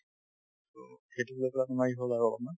সেইটোক লৈ পেলাই তোমাৰ ই হল আৰু অলপমান